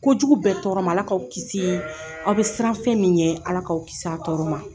Kojugu bɛɛ tɔɔrɔ ma Ala k'aw kisi aw bɛ siran fɛn min ɲɛ Ala k'aw kisi a tɔɔrɔ ma.